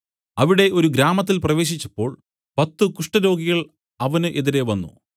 അവിടെ ഒരു ഗ്രാമത്തിൽ പ്രവേശിച്ചപ്പോൾ പത്തു കുഷ്ഠരോഗികൾ അവന് എതിരെ വന്നു